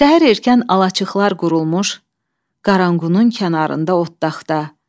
Səhər erkən alaçıqlar qurulmuş Qaranqunun kənarında otaqda.